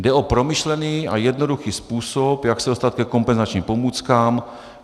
Jde o promyšlený a jednoduchý způsob, jak se dostat ke kompenzačním pomůckám.